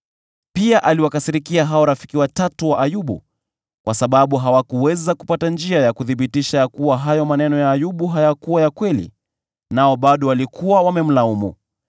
Pia aliwakasirikia hao rafiki watatu wa Ayubu, kwa sababu hawakuweza kupata njia ya kuthibitisha ya kuwa hayo maneno ya Ayubu hayakuwa ya kweli, nao bado walikuwa wamemlaumu.